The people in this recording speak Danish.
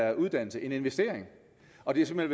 er uddannelse en investering og det er simpelt